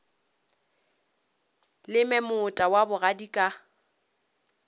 leme moota wa bogadi ka